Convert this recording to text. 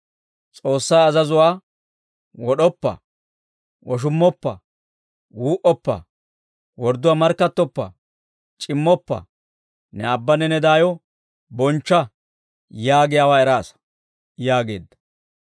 S'oossaa azazuwaa, ‹Wod'oppa; woshummoppa; wuu"oppa; wordduwaa markkattoppa; c'immoppa; ne aabbanne ne daayo bonchcha› yaagiyaawaa eraasa» yaageedda.